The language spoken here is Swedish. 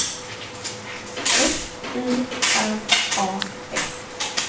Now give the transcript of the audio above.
F I R A S